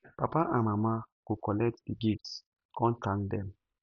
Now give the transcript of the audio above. papa and mama go kollet di gifts kon thank dem